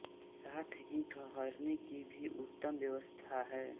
साथ ही ठहरने की भी उत्तम व्यवस्था है